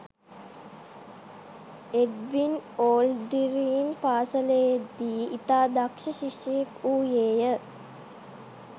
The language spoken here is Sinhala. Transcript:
එඩ්වින් ඕල්ඩ්රින් පාසලේදී ඉතා දක්ෂ ශිෂ්‍යයෙක් වූයේය